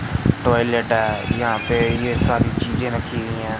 Toilet है यहां पे ये सारी चीजें रखी हुई हैं।